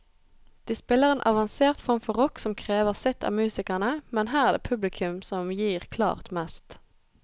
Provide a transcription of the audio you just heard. De spiller en avansert form for rock som krever sitt av musikerne, men her er det publikum som gir klart mest.